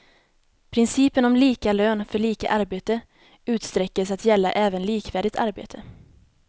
Principen om lika lön för lika arbete utsträcktes att gälla även likvärdigt arbete.